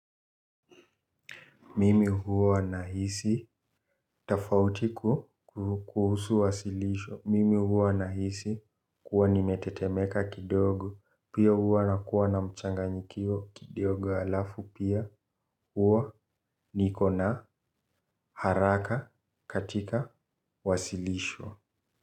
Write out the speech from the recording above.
Mimi huwa na hisi tofauti kuhusu wasilisho. Mimi huwa nahisi kuwa nimetetemeka kidogo. Pia huwa nakua na mchanganyikio kidogo halafu pia huwa niko na haraka katika wasilisho.